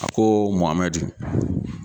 A ko Mɔhamɛdi.